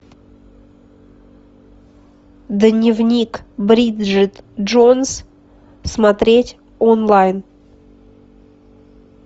дневник бриджит джонс смотреть онлайн